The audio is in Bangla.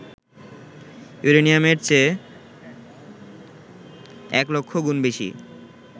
ইউরেনিয়ামের চেয়ে ১০০০০০ গুণ বেশি